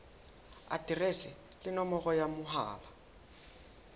aterese le nomoro ya mohala